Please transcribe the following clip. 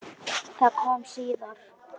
Það kom síðar.